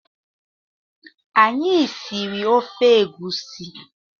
Anyị siri ofe egusi